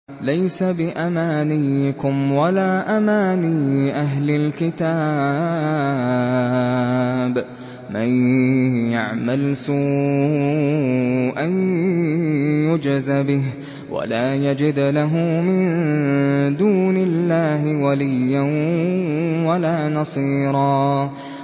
لَّيْسَ بِأَمَانِيِّكُمْ وَلَا أَمَانِيِّ أَهْلِ الْكِتَابِ ۗ مَن يَعْمَلْ سُوءًا يُجْزَ بِهِ وَلَا يَجِدْ لَهُ مِن دُونِ اللَّهِ وَلِيًّا وَلَا نَصِيرًا